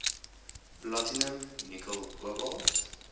platinum nikkel kobalt